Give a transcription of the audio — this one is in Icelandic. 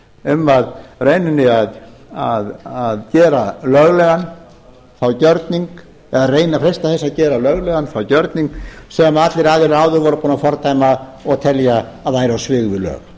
um að í rauninni að gera löglegan þann gjörning eða reyna að freista þess að gera löglegan þann gjörning sem allir aðilar áður voru búnir að fordæma og telja að væri á svig við lög